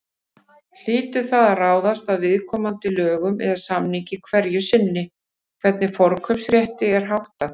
Hlýtur það að ráðast af viðkomandi lögum eða samningi hverju sinni hvernig forkaupsrétti er háttað.